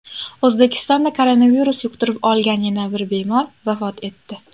O‘zbekistonda koronavirus yuqtirib olgan yana bir bemor vafot etdi.